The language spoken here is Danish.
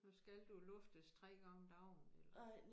Nu skal du luftes 3 gange om dagen eller